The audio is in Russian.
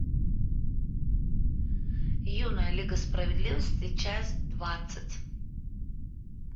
юная лига справедливости часть двадцать